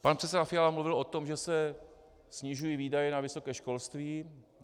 Pan předseda Fiala mluvil o tom, že se snižují výdaje na vysoké školství.